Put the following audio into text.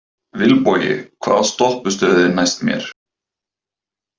Vilbogi, hvaða stoppistöð er næst mér?